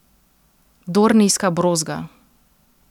Dornijska brozga.